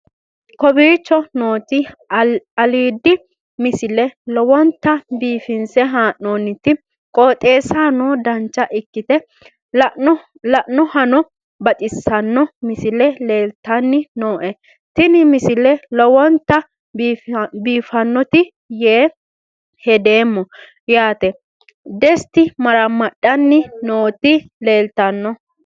kowicho nooti aliidi misile lowonta biifinse haa'noonniti qooxeessano dancha ikkite la'annohano baxissanno misile leeltanni nooe ini misile lowonta biifffinnote yee hedeemmo yaate dest maramadhanni nooti leeltanno